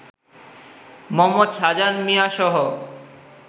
Md. Shahjahan মিয়াসহ